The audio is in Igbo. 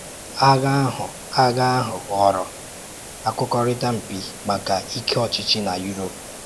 Ághà ahụ Ághà ahụ ghọrọ um Ákwụ́kwọrịtà mpi maka ike ọchịchị na Europe.”